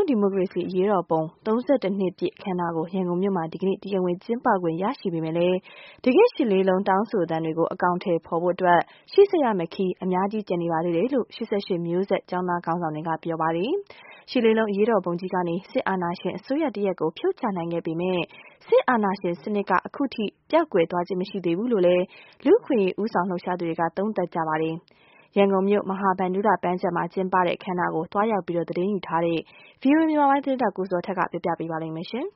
ံးဒီမိုကရေစီအရေးတော်ပုံ ၃၁နှစ်ပြည့်အခမ်းအနားကို ရန်ကုန်မြို့မှာ ဒီကနေ့ တရားဝင်ကျင်းပခွင့်ရရှိပေမဲ့ တကယ့်ရှစ်လေးလုံး တောင်းဆိုသံတွေကို အကောင်အထည်ပေါ်ဖို့အတွက် ရှေ့ဆက်ရမယ့်ခရီး အများကြီးကျန်နေပါသေးတယ်လို့ ၈၈ မျိုးဆက်ကျောင်းသားခေါင်းဆောင်တွေက ပြောဆိုလိုက်ပါတယ်။ ရှစ်လေးလုံးအရေးတော်ပုံကြီးကနေ စစ်အာဏာရှင်အစိုးရတရပ်ကို ဖြုတ်ချနိုင်ခဲ့ပေမဲ့၊ စစ်အာဏာရှင်စနစ်က အခုထိပျောက်ကွယ်သွားခြင်းမရှိသေးဘူးလို့ လူ့အခွင့်အရေးဦးဆောင်လှုပ်ရှာသူကလည်း သုံးသပ်ပါတယ်။ ရန်ကုန်မြို့ မဟာဗန္ဓုလပန်းခြံမှာပြုလုပ်တဲ့ အခမ်းအနားကို သွားရောက်သတင်းယူခဲ့တဲ့ ဗွီအိုအေ မြန်မာပိုင်းသတင်းထောက် ကိုဇော်ထက်က ပြောပြပေးထားပါတယ်။ ဒါကတော့ တချိန်က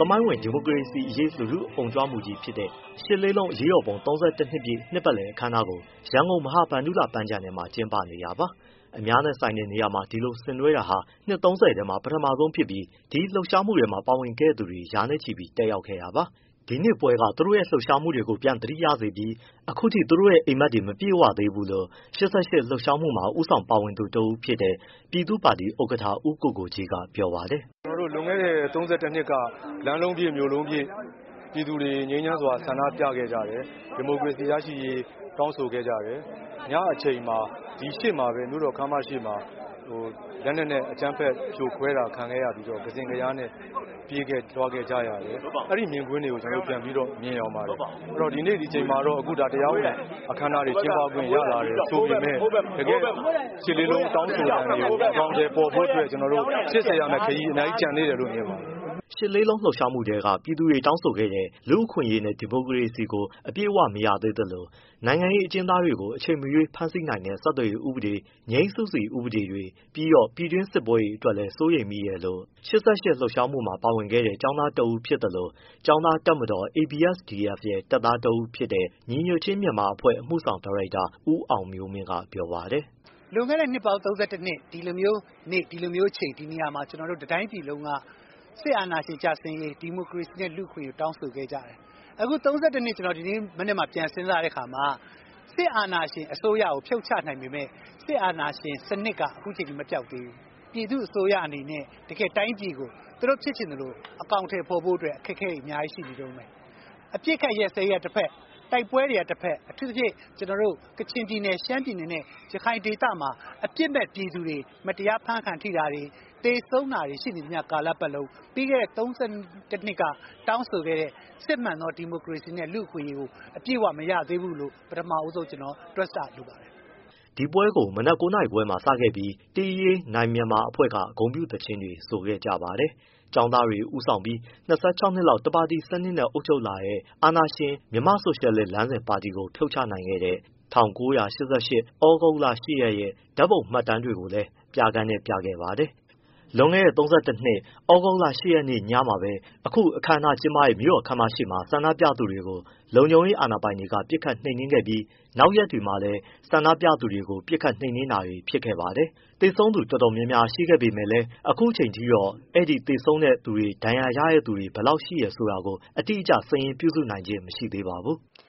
သမိုင်းဝင် ဒီမိုကရေစီအရေး လူထုအုံကြွမှုကြီးဖြစ်တဲ့ ရှစ်လေးလုံးအရေးတော်ပုံ ၃၁နှစ်ပြည့် နှစ်ပတ်လည်အခမ်းအနားကို ရန်ကုန် မဟာဗန္ဓုလပန်းခြံထဲမှာ ကျင်းပနေတာပါ။ အများနဲ့ဆိုင်တဲ့နေရာမှာ ဒီလိုဆင်နွဲတာဟာဟာ နှစ်သုံးဆယ်ထဲမှာ ပထမဆုံးဖြစ်ပြီး ဒီလှုပ်ရှားမှုထဲ ပါဝင်ခဲ့သူတွေ ရာနဲ့ချီပါဝင်ခဲ့တာပါ။ ဒီပွဲက သူတို့ရဲ့လှုပ်ရှားမှုတွေကို ပြန်သတိရစေပြီး အခုထိ သူတို့ရဲ့အိပ်မက်တွေ မပြည့်သေးဘူးလို့ ၈၈လှုပ်ရှားမှုမှာ ဦးဆောင်ပါဝင်သူတဦးဖြစ်တဲ့ ပြည်သူ့ပါတီဥက္ကဋ္ဌ ဦးကိုကိုကြီးကပြောပါတယ်။ “ ကျနော်တို့လွန်ခဲ့တဲ့ ၃၁နှစ်က လမ်းလုံးပြည့်၊ မြို့လုံးပြည့် ပြည်သူတွေငြိမ်းချမ်းစွာဆန္ဒပြခဲ့ကြတယ်။ ဒီမိုကရေစီရရှိရေး တောင်းဆိုခဲ့ကြတယ်။ ညအချိန်မှာ ဒီရှေ့မှာပဲမြို့တော်ခန်းမရှေ့မှာ လက်နက်နဲ့အကြမ်းဖက်ဖြိုခွဲတာ ခံခဲ့ရပြီးတော့ ကစဉ့်ကလျားနဲ့ပြေးခဲ့၊ လွှားခဲ့ကြရတယ်။ အဲဒီမြင်ကွင်းတွေကို ကျနော်တို့ ပြန်ပြီးတော့ မြင်ယောင်ပါတယ်။ အခုဒီနေ့ဒီအချိန်မှာတော့ အခုဒါတရားဝင်အခမ်းအနားတွေ ကျင်းပခွင့်ရလာတယ်ဆိုပေမဲ့ တကယ့်ရှစ်လေးလုံး တောင်းဆိုသံတွေကို အကောင်အထည်ပေါ်ဖို့အတွက် ကျနော်တို့ရှေ့ဆက်ရမယ့်ခရီး အများကြီးကျန်သေးတယ်လို့ မြင်ပါတယ်။” ရှစ်လေးလုံးလှုပ်ရှားမှုကတည်းက ပြည်သူတွေကတောင်းခဲ့တဲ့ လူ့အခွင့်အရေးနဲ့ ဒီမိုကရေစီကို အပြည့်အဝမရသေးသလို နိုင်ငံရေးအကျဉ်းသားတွေကို အချိန်မရွေးဖမ်းဆီးနိုင်တဲ့ ဆက်သွယ်ရေးဥပဒေ၊ ငြိမ်းစုစီဥပဒေတွေ ပြီးတော့ ပြည်တွင်းစစ်ပွဲတွေအတွက်လည်း စိုးရိမ်မိတယ်လို့ ၈၈လှုပ်ရှားမှုမှာ ပါဝင်ခဲ့တဲ့ ကျောင်းသားတဦးဖြစ်သလို ကျောင်းသားတပ်မတော် ABSDF ရဲ့ တပ်သားတဦးဖြစ်တဲ့ ညီညွှတ်ခြင်းမြန်မာအဖွဲ့ အမှုဆောင်ဒါရိုက် ဦးအောင်မျိုးမင်းကပြောပါတယ်။ “ လွန်ခဲ့တဲ့ နှစ်ပေါင်း ၃၂နှစ် ဒီလိုမျိုးနေ့ ဒီလိုမျိုးအချိန် ဒီနေရာမှာ ကျနော်တို့တတိုင်းပြည်လုံးက စစ်အာဏာရှင်ကျဆင်းရေး ဒီမိုကရေစီနဲ့ လူ့အခွင့်အရေးကို တောင်းဆိုခဲ့ကြတယ်။ အခု ၃၁နှစ် ဒီနေ့မနက်မှာ ကျနော်ပြန်စဉ်းစားတဲ့အခါမှာ စစ်အာဏာရှင်အစိုးရကို ဖြုတ်ချနိုင်ပေမဲ့၊ စစ်အာဏာရှင်စနစ်က အခုထိမပျောက်သေးဘူး။ ပြည်သူ့အစိုးရအနေနဲ့တိုင်းပြည်ကို သူတို့ဖြစ်ချင်သလို အကောင်အထည်ဖော်ဖို့အတွက် အခက်အခဲတွေ အများကြီးရှိနေတုန်းပဲ။ အပြစ်အခတ်ရပ်စဲရေးကတဖက် တိုက်ပွဲတွေကတဖက် အထူးသဖြင့် ကချင်ပြည်နယ်၊ ရှမ်းပြည်နယ်နဲ့ ရခိုင်ဒေသမှာ အပြစ်မဲ့ ပြည်သူတွေ မတရားအဖမ်းခံထိတာတွေ သေဆုံးတာတွေရှိနေသမျှကာလပတ်လုံး ပြီးခဲ့တဲ့ ၃၁နှစ်က တောင်းဆိုခဲ့တဲ့ စစ်မှန်သော ဒီမိုကရေစီနဲ့ လူ့အခွင့်အရေးကို အပြည့်အဝမရသေးဘူးလို့ ကျနော်တွက်ဆလိုပါတယ်။” ဒီပွဲကို မနက် ၉ နာရီခွဲမှာစပြီး တေးရေးနိုင်မြန်မာနဲ့အဖွဲ့က ဂုဏ်ပြုသီချင်းတွေ ဆိုခဲ့ကြပါတယ်။ ကျောင်းသားတွေဦးဆောင်ပြီး ၂၆နှစ်လောက် တပါတီစနစ်နဲ့အုပ်ချုပ်ခဲ့တဲ့ အာဏာရှင် မြန်မာ့ဆိုရှယ်လစ်လမ်းစဉ်ပါတီကို ဖြုတ်ချနိုင်ခဲ့တဲ့ ၁၉၈၈ သြဂုတ်လ ၈ရက်ရဲ့ ဓာတ်ပုံမှတ်တမ်းတွေကိုလည်း ပြခန်းနဲ့ပြခဲ့ပါတယ်။ လွန်ခဲ့တဲ့ ၃၁နှစ် သြဂုတ်လ ၈ ရက်နေ့ညမှာပဲ အခု အခမ်းအနားကျင်းပတဲ့ မြို့တော်ခန်းမရှေ့မှာ ဆန္ဒပြသူတွေကို လုံခြုံရေးအာဏာပိုင်တွေက ပစ်ခတ်နှိမ်နင်းခဲ့ပြီး၊ နောက်ရက်တွေမှာလည်း ဆန္ဒပြသူတွေကို ပစ်ခတ်နှိမ်နင်းတာတွေ ဖြစ်ခဲ့ပါတယ်။ သေဆုံးသူတွေအတော်များများရှိပေမယ့်လည်း အခုအချိန်အထိတော့ အဲဒီအချိန် သေဆုံး ဒဏ်ရာရသူတွေ ဘယ်လောက်ရှိလဲဆိုတာကိုတော့ အတိအကျ စာရင်းပြုစုနိုင်ခြင်းမရှိသေးပါဘူး။